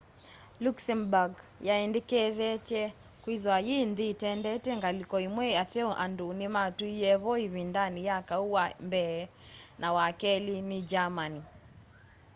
luxembourg yiendekethetye kwithwa yi nthi itendete ngaliko imwe ateo andu nimatuie vo ivindani ya kau wa mbee na wa keli ni germany